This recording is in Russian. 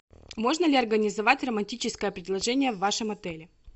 можно ли организовать романтическое предложение в вашем отеле